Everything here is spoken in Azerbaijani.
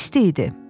İsti idi.